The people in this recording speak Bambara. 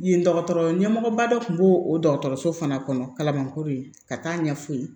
Yen dɔgɔtɔrɔ ɲɛmɔgɔba dɔ kun b'o o dɔgɔtɔrɔso fana kɔnɔ kalabankoro ka taa ɲɛf'u ye